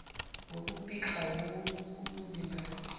ngokupikla wowu kuyovimbani